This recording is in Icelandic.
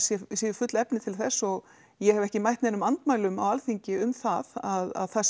séu full efni til þess og ég hef ekki mætt neinum andmælum á Alþingi um það að það